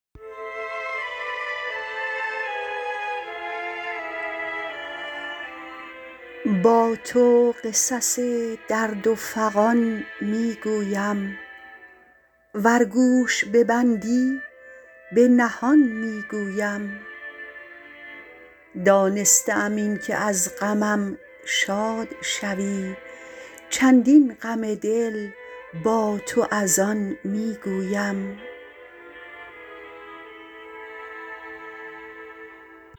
با تو قصص درد و فغان میگویم ور گوش ببندی پنهان میگویم دانسته ام اینکه از غمم شاد شوی چندین غم دل با تو از آن میگویم